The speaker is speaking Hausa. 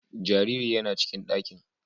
Jariri yana cikin ɗakin.